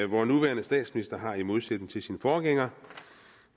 vor nuværende statsminister har i modsætning til sin forgænger